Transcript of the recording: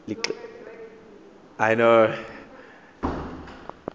liqela elininzi apha